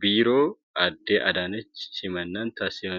Biiroo Aadde Adaanechitti simannaan taasifamaafii kan turedha.